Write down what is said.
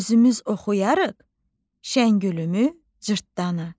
özümüz oxuyarıq Şəngülümü, Cırtdanı.